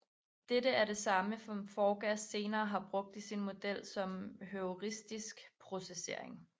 Dette er det samme som Forgas senere har brugt i sin model som heuristisk processering